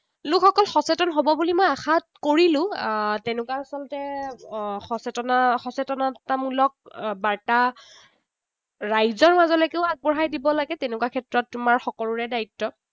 লোকসকল সচেতন হব বুলি মই আশা কৰিলো। আহ তেনেকুৱা আচলতে সচেতনা সচেতনতামূলক বাৰ্তা ৰাইজৰ লগে লগেও আগবঢ়াই দিব লাগে, তেনেকুৱা ক্ষেত্ৰত তোমাৰ সকলোৰে দায়িত্ব।